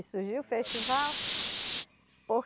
Surgiu o festival